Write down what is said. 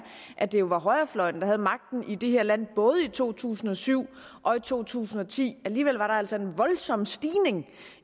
at det jo var højrefløjen der havde magten i det her land både i to tusind og syv og to tusind og ti alligevel var der altså en voldsom stigning